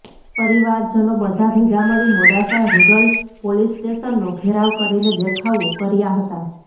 પરિવારજનો બધા ભેગામળી મોડાસા રૂરલ પોલીસ સ્ટેશનનો ઘેરાવ કરીને દેખાવો કર્યા હતા